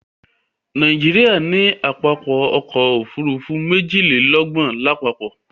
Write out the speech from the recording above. Nàìjíríà ní pápákọ̀ ọ̀kọ òfurufú méjìlélọ́gbọ̀n lápapọ̀